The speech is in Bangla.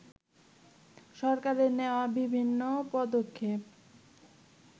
সরকারের নেয়া বিভিন্ন পদক্ষেপ